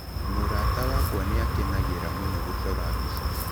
Mũrata wakwa nĩ akenagĩra mũno gũcora mbica.